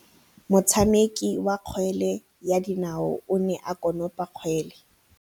Motshameki wa kgwele ya dinaô o ne a konopa kgwele.